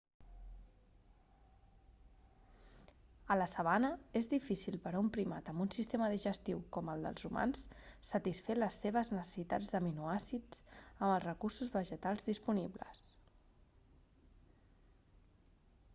a la sabana és difícil per a un primat amb un sistema digestiu com el dels humans satisfer les seves necessitats d'aminoàcids amb els recursos vegetals disponibles